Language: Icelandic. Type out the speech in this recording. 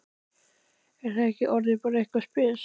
Er það ekki orðið eitthvað spes?